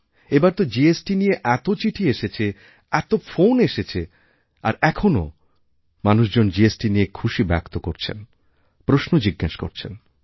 এবার তো জিএসটি নিয়ে এত চিঠি এসেছে এত ফোন এসেছে আর এখনও মানুষজন জিএসটি নিয়ে খুশি ব্যক্ত করছেনপ্রশ্ন জিজ্ঞেস করছেন